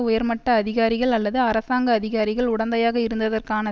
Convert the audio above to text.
உயர்மட்ட அதிகாரிகள் அல்லது அரசாங்க அதிகாரிகள் உடந்தையாக இருந்ததற்கான